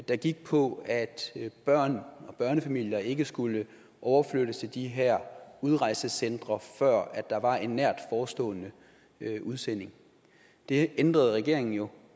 der gik på at børn og børnefamilier ikke skulle overflyttes til de her udrejsecentre før der var en nært forestående udsendelse det ændrede regeringen jo